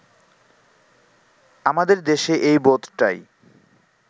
আমাদের দেশে এই বোধটাই